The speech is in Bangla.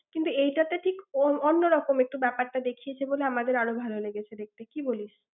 কিন্তু এটা তো ঠিক অন্যরকম একটু ব্যাপারটা দেখিয়েছে বলে আমাদের আরও ভাল লেগেছে দেখতে, কী বলিস?